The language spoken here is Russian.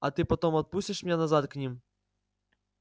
а ты потом отпустишь меня назад к ним